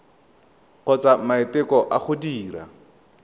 kgotsa maiteko a go dira